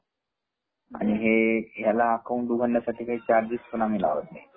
अन हे याला अकाऊंट उघडण्यासाठी काही चार्गेस पण आम्ही काही लावत नाही.